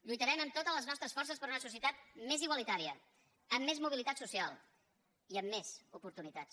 lluitarem amb totes les nostres forces per una societat més igualitària amb més mobilitat social i amb més oportunitats